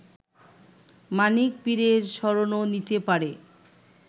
মানিক পীরের শরণও নিতে পারে